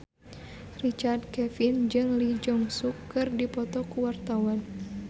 Richard Kevin jeung Lee Jeong Suk keur dipoto ku wartawan